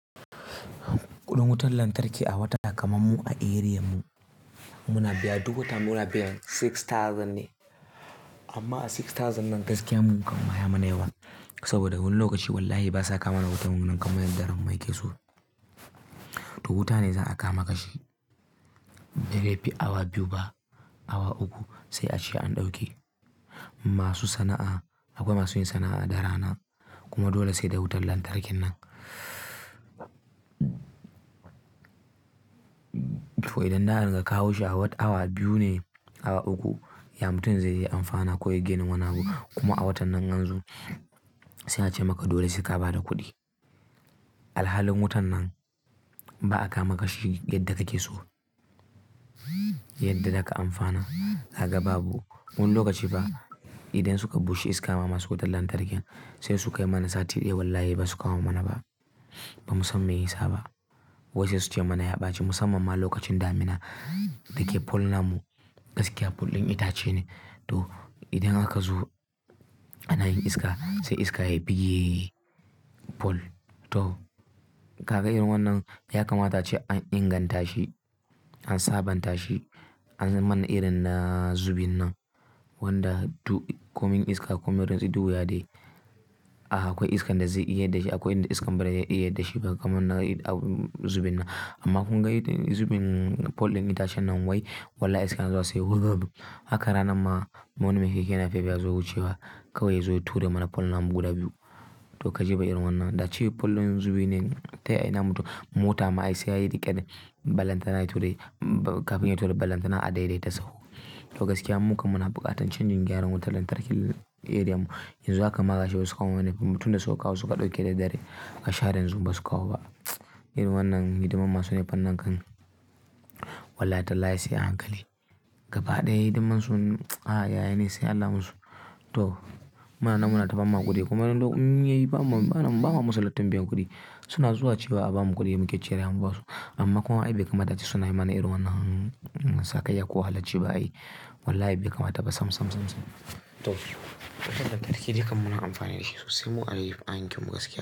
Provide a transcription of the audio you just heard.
Kuɗin wutar lantarki a wata kamar mu a eriyam mu, muna biya duk wata muna biyan dubu shida ne. Amma a dubu shida nan gaskiya mun muka hakanma yaimana yawa saboda wani lokaci wallahi basa kamana wutar wannan kamar yadda ran mai ke so. To wuta ne zan a kama kashi. Da dai fi awa biyu ba, awa uku sai a ce an ɗauke masu sana'a, abokan masu yin sana'a da rana kuma dole sai da wutar lantarkin nan. To idan na'an ka kawo shi a wat awa biyu ne, awa uku, ya mutum zai iya amfana ko ya gani wani abu kuma a watan nan anzo suna ce maka dole suka ba da kuɗi. Alhalin wutan nan ba a kama kashi yadda take so, yadda za ka amfana, haka babu. Wani lokaci ba idan suka bushe iska masu wutar lantarkin sai suka yi mana sati ɗaya wallahi ba su kawo mana ba, ba musamman yinsa ba. Wadanda su ce mana ya ɓace musamman ma lokacin damina da ke pol nan mu gaskiya pol ɗin itace ne. To idan aka zo ana yin iska sai iska ya bige pol. To kaga irin wannan ya kamata ce an inganta shi, an sabanta shi, an manna irin na zubin nan wanda to coming iska coming don su yi duya dai. A haka akwai iska da zai iya da shi akwai iska bari ya iya da shi ba kamar na zubin nan. Amma kun ga zubin pol ɗin itacen nan wai wallahi iska zan zo sai woga biyu. Haka ranan ma wani mai keke na Feb yazo wucewa kawai yazo ya tura mana pol nan guda biyu. To ka je ka jera wannan da ce pol ɗin zubi ne tayi namu to mota ma ai sai ya riƙe balantana ya tura kafin ya tura balantana a daidaita sau. To gaskiya mun muka suna buƙatan changing gyaran wutar lantarki aream mu. Yanzu haka maka shai su kawo mana tunda suka awo suka ɗauke da dare aka share zun ba su kawo ba. Irin wannan hidiman masu nefanan kan wallahi talla sai a hankali. Gaba ɗaya hidimansu a yaye ne sai Allah musu. To muna nan muna ta bama kuɗi kuma in yayi bamun bana bawa musu lattin biyan kuɗi suna zuwa ci ba a bamu kuɗi mu ke ciyar yawan wasu. Amma kuma wai bai kamata ce suna yi mana irin wannan sakai ko halacci ba ai wallahi bai kamata ba sam sam sam sam. To wutar lantarki dai kam muna amfani da shi sosai mu a ɗaki mu gaskiya.